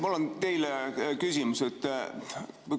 Mul on teile küsimus.